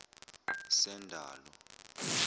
sendalo